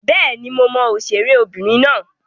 Bẹ́ẹ̀ni, mo mọ òṣèré obìnrin náà